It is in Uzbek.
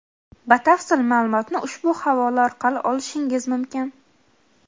Batafsil ma’lumotni ushbu havola orqali olishingiz mumkin.